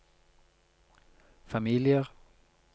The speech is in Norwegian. familier